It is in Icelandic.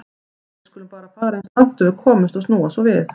Við skulum bara fara eins langt og við komumst og snúa svo við.